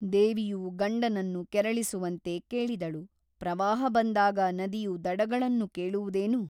ದೇವಿಯು ಗಂಡನನ್ನು ಕೆರಳಿಸುವಂತೆ ಕೇಳಿದಳು ಪ್ರವಾಹ ಬಂದಾಗ ನದಿಯು ದಡಗಳನ್ನು ಕೇಳುವುದೇನು ?